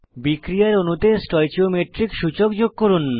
বিক্রিয়ার অণুতে স্টয়চিওমেট্রিক সূচক যোগ করুন